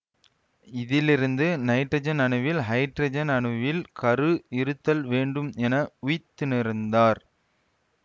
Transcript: இதிலிருந்து நைட்ரஜன் அணுவில் ஹைட்ரஜன் அணுவின் கரு இருத்தல் வேண்டும் என உய்த்துணர்ந்தார்